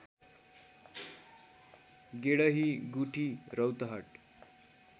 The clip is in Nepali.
गेडही गुठी रौतहट